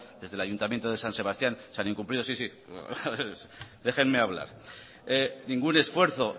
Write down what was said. eesde el ayuntamiento de san sebastián se han incumplido sí sí déjenme hablar ningún esfuerzo